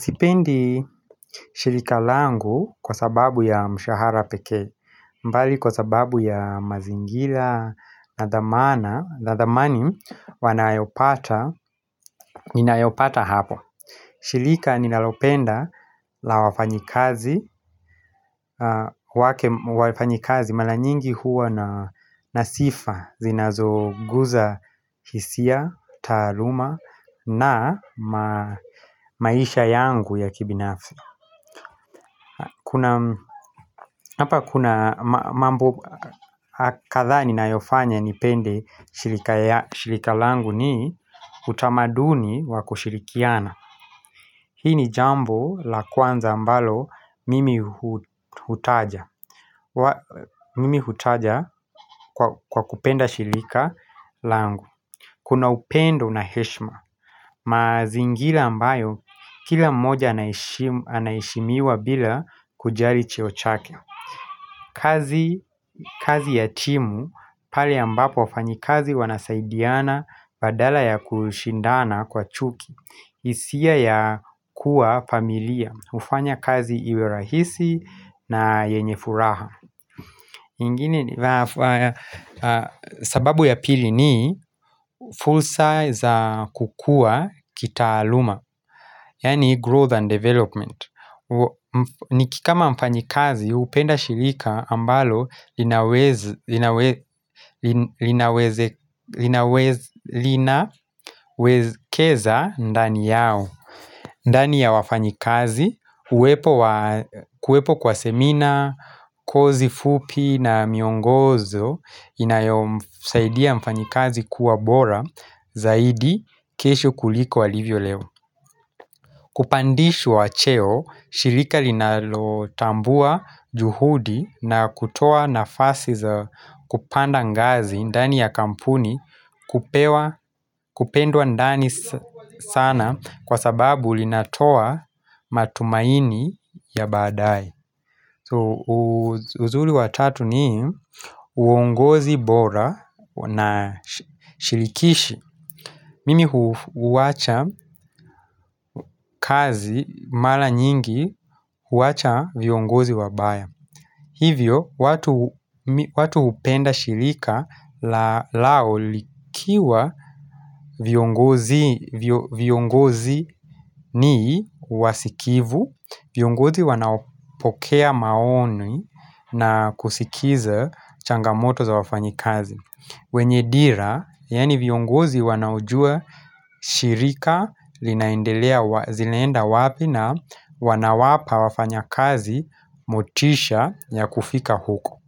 Sipendi shirika langu kwa sababu ya mshahara pekee, mbali kwa sababu ya mazingila, na dhamana, na dhamani wanayopata, ninayopata hapo. Shilika ninalopenda la wafanyikazi, wafanyikazi mala nyingi huwa na sifa, zinazoguza hisia, taaluma na maisha yangu ya kibinafsi. Kuna mambo kadha ninayofanya nipende shirika ya shirika langu ni utamaduni wako kushirikiana. Hii ni jambo la kwanza ambalo mimi hu hutaja Mimi hutaja kwa kwa kupenda shilika langu Kuna upendo na heshima mazingira ambayo kila mmoja anaheshimu anaheshimiwa bila kujali cheo chake kazi ya timu pale ambapo wafanyikazi wanasaidiana badala ya kushindana kwa chuki hisia ya kuwa familia, hufanya kazi iwe rahisi na yenye furaha ingine sababu ya pili ni full size kukua kitaaluma Yaani growth and development Nikikama mfanyikazi hupenda shirika ambalo linaweza linaweze linawezekeza ndani yao ndani ya wafanyikazi, uwepo wa kuwepo kwa semina, kozi fupi na miongozo inayomsaidia mfanyikazi kuwa bora zaidi kesho kuliko walivyo leo. Kupandishwa cheo, shirika linalotambua juhudi na kutoa nafasi za kupanda ngazi ndani ya kampuni kupewa kupendwa ndani sana kwa sababu linatoa matumaini ya badaae uzuri wa tatu ni uongozi bora na shirikishi Mimi hu huwacha kazi mara nyingi huwacha viongozi wabaya. Hivyo, watu hupenda shirika lao likiwa viongozi ni wasikivu, viongozi wanaopokea maoni na kusikiza changamoto za wafanyi kazi. Wenye dira, yani viongozi wanaojua shirika linaendelea zinaenda wapi na wanawapa wafanyakazi motisha ya kufika huko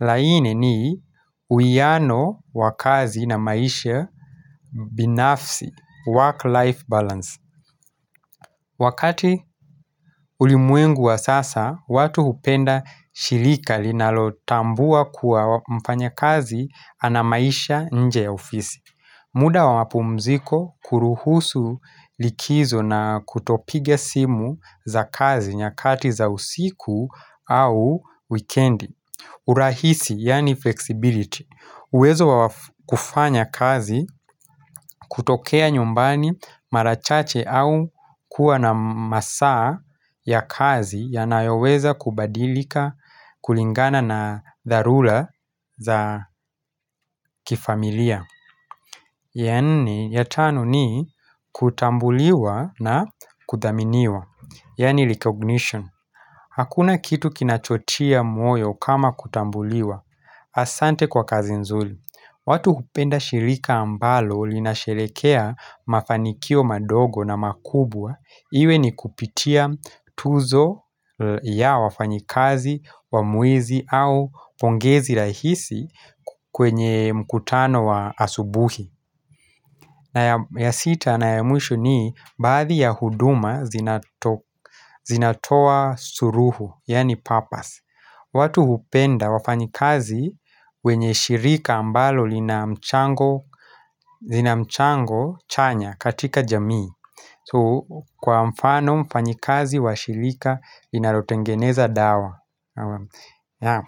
laini ni uiano wakazi na maisha binafsi, work-life balance Wakati ulimwengu wa sasa, watu hupenda shirika linalotambua kuwa mfanyakazi anamaisha nje ya ofisi muda wapumziko kuruhusu likizo na kutopiga simu za kazi nyakati za usiku au wikendi urahisi yani flexibility uwezo wa kufanya kazi kutokea nyumbani mara chache au kuwa na masaa ya kazi yanayoweza kubadilika kulingana na dharura za kifamilia ya nne ya tano ni kutambuliwa na kuthaminiwa Yani recognition Hakuna kitu kinachotia moyo kama kutambuliwa Asante kwa kazi nzuri watu hupenda shirika ambalo linasherekea mafanikio madogo na makubwa iwe nikupitia tuzo ya wafanyikazi wa mwezi au pongezi rahisi kwenye mkutano wa asubuhi na ya sita na ya mwisho ni baadhi ya huduma zinatoka zinatoa suruhu yani purpose watu hupenda wafanyikazi wenye shirika ambalo lina mchango Zinamchango chanya katika jamii Kwa mfano mfanyikazi wa shirika linalotengeneza dawa ya.